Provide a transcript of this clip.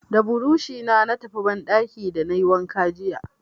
Da burushi na tafi banɗaki da na yi wanka jiya.